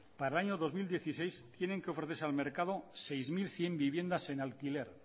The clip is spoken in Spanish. para el año dos mil dieciséis tienen que ofrecerse al mercado seis mil cien viviendas en alquiler